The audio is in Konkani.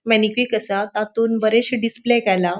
मेनीक्विक असा तातुन बरेशे डिस्प्ले केला.